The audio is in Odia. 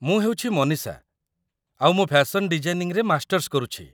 ମୁଁ ହେଉଛି ମନୀଷା, ଆଉ ମୁଁ ଫ୍ୟାସନ୍ ଡିଜାଇନିଂରେ ମାଷ୍ଟର୍ସ କରୁଛି